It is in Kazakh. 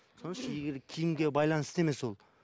киімге байланысты емес ол